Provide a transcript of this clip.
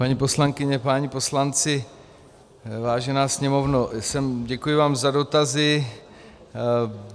Paní poslankyně, páni poslanci, vážená Sněmovno, děkuji vám za dotazy.